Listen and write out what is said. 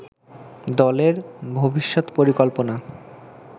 দলের ভবিষ্যৎ পরিকল্পনা